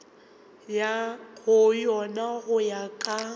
go yona go ya ka